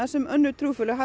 sem önnur trúfélög